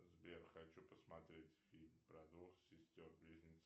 сбер хочу посмотреть фильм про двух сестер близнецов